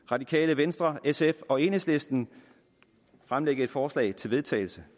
radikale venstre sf og enhedslisten fremsætte et forslag til vedtagelse